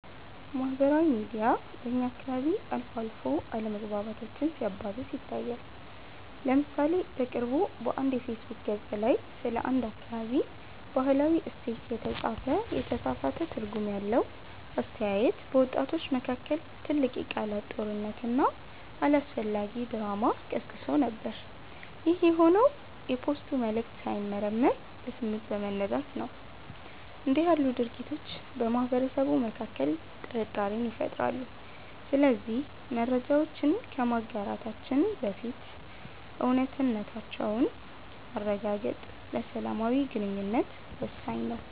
ማህበራዊ ሚዲያ በእኛ አካባቢ አልፎ አልፎ አለመግባባቶችን ሲያባብስ ይታያል። ለምሳሌ በቅርቡ በአንድ የፌስቡክ ገፅ ላይ ስለ አንድ አካባቢ "ባህላዊ እሴት" የተጻፈ የተሳሳተ ትርጉም ያለው አስተያየት፣ በወጣቶች መካከል ትልቅ የቃላት ጦርነትና አላስፈላጊ ድራማ ቀስቅሶ ነበር። ይህ የሆነው የፖስቱ መልዕክት ሳይመረመር በስሜት በመነዳት ነው። እንዲህ ያሉ ድርጊቶች በማህበረሰቡ መካከል ጥርጣሬን ይፈጥራሉ። ስለዚህ መረጃዎችን ከማጋራታችን በፊት እውነታነታቸውን ማረጋገጥ ለሰላማዊ ግንኙነት ወሳኝ ነው።